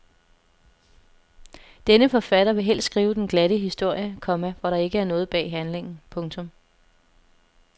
Denne forfatter vil helst skrive den glatte historie, komma hvor der ikke er noget bag handlingen. punktum